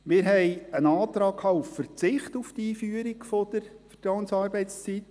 Wir hatten einen Antrag auf Verzicht der Einführung der Vertrauensarbeitszeit.